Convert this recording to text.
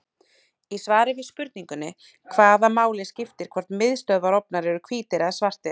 Í svari við spurningunni Hvaða máli skiptir hvort miðstöðvarofnar eru hvítir eða svartir?